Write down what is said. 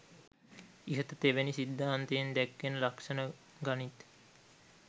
ඉහත තෙවැනි සිද්ධාන්තයෙන් දැක්වෙන ලක්‍ෂණ ගනිත්.